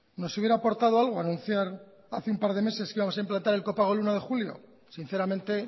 nos hubiera aportado algo anunciar hace un par de meses que íbamos a implantar el copago el uno de julio sinceramente